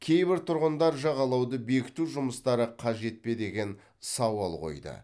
кейбір тұрғындар жағалауды бекіту жұмыстары қажет пе деген сауал қойды